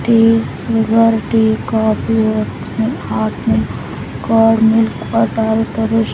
T silver tea coffee hot milk cold milk butter --